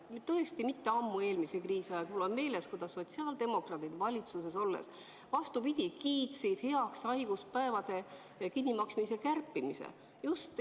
Mul on meeles, kuidas mitte ammu, eelmise kriisi ajal, sotsiaaldemokraadid valitsuses olles, vastupidi, kiitsid heaks haiguspäevade kinnimaksmise kärpimise.